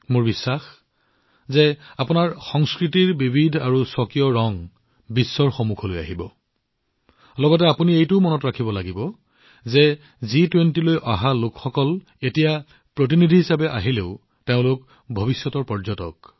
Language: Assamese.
মই নিশ্চিত যে আপোনালোকে আপোনালোকৰ সংস্কৃতিৰ বিবিধ আৰু স্বকীয় ৰং বিশ্বৰ সন্মুখলৈ আনিব আৰু আপোনালোকে এইটোও মনত ৰাখিব লাগিব যে জি২০লৈ অহা লোকসকল আনকি তেওঁলোক এতিয়া প্ৰতিনিধি হিচাপে আহিলেও তেওঁলোক হল ভৱিষ্যতৰ পৰ্যটক